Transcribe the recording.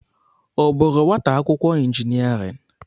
Ọ bụụrụ nwata akwụkwọ injiniarịn?